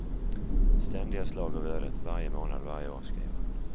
Ständiga slag av ödet, varje månad, varje år, skriver han.